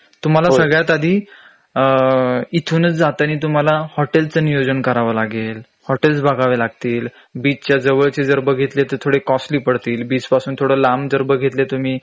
तुम्हाला सगळ्यात आधी इथूनच जातानी तुम्हाला हॉटेलचं नियोजन करावं लागेल हॉटेल्स बघावे लागतील बीच च्या जवळचे जर बघितले तर थोडे कॉस्टली पडतीलबीच पासून थोडं लांब जर बघितले तुम्ही